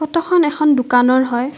ফটোখন এখন দোকানৰ হয়।